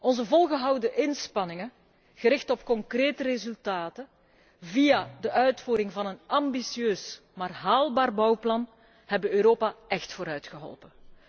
Onze volgehouden inspanningen, gericht op concrete resultaten via de uitvoering van een ambitieus, maar haalbaar bouwplan, hebben Europa echt vooruitgeholpen.